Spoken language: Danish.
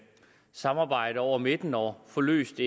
samarbejde hen over midten og få løst